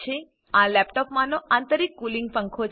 આ લેપટોપમાનો આંતરિક કૂલિંગ પંખો છે